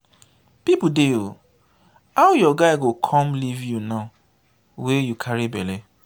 people dey ooo! how your guy go come leave you now wey you carry bele.